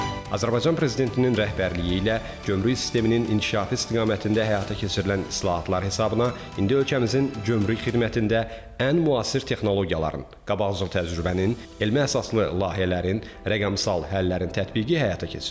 Azərbaycan prezidentinin rəhbərliyi ilə gömrük sisteminin inkişafı istiqamətində həyata keçirilən islahatlar hesabına indi ölkəmizin gömrük xidmətində ən müasir texnologiyaların, qabaqcıl təcrübənin, elmi əsaslı layihələrin, rəqəmsal həllərin tətbiqi həyata keçirilir.